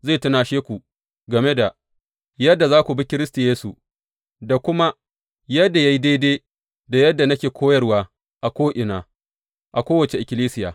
Zai tunashe ku game da yadda za ku bi Kiristi Yesu da kuma yadda ya yi daidai da yadda nake koyarwa a ko’ina, a kowace ikkilisiya.